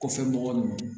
Kɔfɛ mɔgɔ ninnu